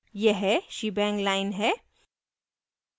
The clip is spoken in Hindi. यह shebang line है